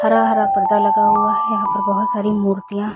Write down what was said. हरा-हरा पर्दा लगा हुआ है। यहाँ पर बहुत सारी मूर्तियाँ--